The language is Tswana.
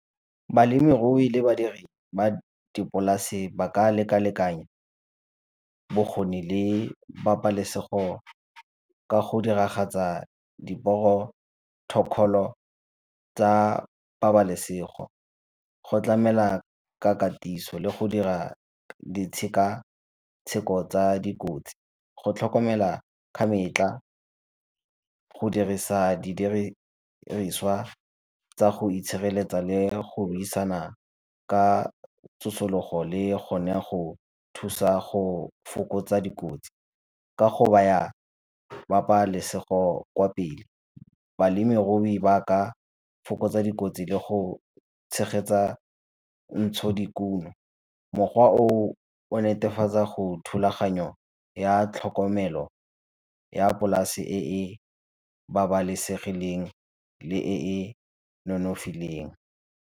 Balemirui le badiri ba dipolase ba ka lekalekanya bokgoni le pabalesego ka go diragatsa diporotokholo tsa pabalesego, go tlamela ka katiso le go dira ditshekatsheko tsa dikotsi. Go tlhokomela ka metlha go dirisa di diriswa tsa go itshireletsa le go buisana ka tsosologo le go ne go thusa go fokotsa dikotsi, ka go baya pabalesego kwa pele. Balemirui ba ka fokotsa dikotsi le go tshegetsa ntsho dikuno, mokgwa o o o netefatsa gore thulaganyo ya tlhokomelo ya polase e e babalesegileng le e e nonofileng.